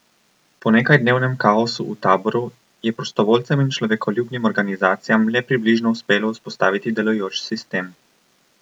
Po nekajdnevnem kaosu v taboru je prostovoljcem in človekoljubnim organizacijam le približno uspelo vzpostaviti delujoč sistem.